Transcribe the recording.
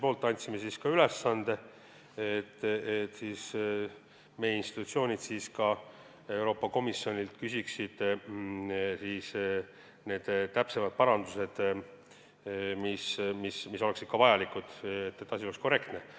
Me andsime komisjoni poolt ülesande, et meie institutsioonid küsiksid Euroopa Komisjonilt täpsemaid parandusi, mis oleksid vajalikud, et asi oleks korrektne.